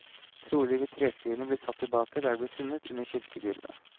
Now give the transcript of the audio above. Trolig vil treskrinene bli satt tilbake der de ble funnet, under kirkegulvet.